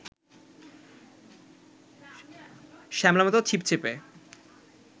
শ্যামলামতো, ছিপছিপে